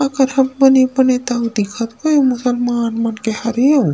अकरहा बने बने तक दिखत हे मुस्लमान मन के हरे अउ--